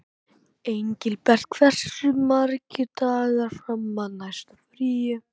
Engilbert, hversu margir dagar fram að næsta fríi?